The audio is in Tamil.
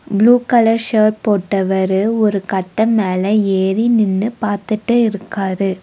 ப்ளூ கலர் ஷர்ட் போட்டவரு ஒரு கட்ட மேல ஏறி நின்னு பாத்துட்டு இருக்காரு.